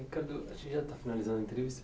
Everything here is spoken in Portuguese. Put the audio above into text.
Ricardo, a gente já está finalizando a entrevista.